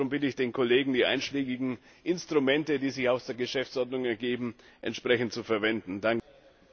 Darum bitte ich den Kollegen, die einschlägigen Instrumente, die sich aus der Geschäftsordnung ergeben, entsprechend zu nutzen.